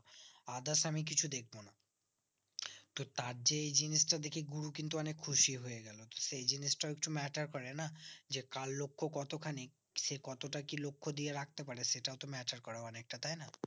others আমি কিছু দেখবো না তো তার যে এই জিনিসটা দেখে গুরু কিন্তু অনিক খুশি হয়ে গেলো সেই জিনিসটাও একটু matter করে না যে কার লক্ষ কত খানিক সে কতটা কি লক্ষ দিয়ে রাখতে পারে সেটাও তো matter করে অনিকটা তাই না